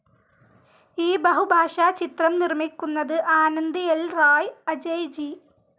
ഈ ബഹുഭാഷാ ചിത്രം നിർമിക്കുന്നത് ആനന്ദ് ൽ റായ്, അജയ് ജി.